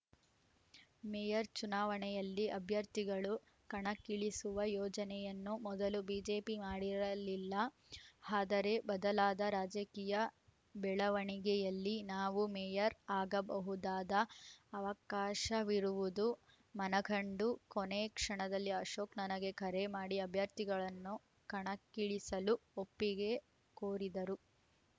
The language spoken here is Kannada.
ಮೇಯರ್‌ ಚುನಾವಣೆಯಲ್ಲಿ ಅಭ್ಯರ್ಥಿಗಳನ್ನು ಕಣಕ್ಕಿಳಿಸುವ ಯೋಜನೆಯನ್ನು ಮೊದಲು ಬಿಜೆಪಿ ಮಾಡಿರಲಿಲ್ಲ ಹಾದರೆ ಬದಲಾದ ರಾಜಕೀಯ ಬೆಳವಣಿಗೆಯಲ್ಲಿ ನಾವು ಮೇಯರ್‌ ಆಗಬಹುದಾದ ಅವಕಾಶವಿರುವುದು ಮನಗಂಡು ಕೊನೆ ಕ್ಷಣದಲ್ಲಿ ಅಶೋಕ್‌ ನನಗೆ ಕರೆ ಮಾಡಿ ಅಭ್ಯರ್ಥಿಗಳನ್ನು ಕಣಕ್ಕಿಳಿಸಲು ಒಪ್ಪಿಗೆ ಕೋರಿದರು